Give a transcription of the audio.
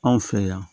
Anw fɛ yan